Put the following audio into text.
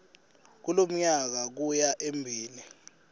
kulomnyaka kuya embili